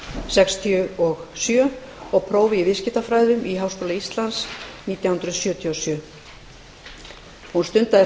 sextíu og sjö og prófi í viðskiptafræðum í háskóla íslands nítján hundruð sjötíu og sjö hún stundaði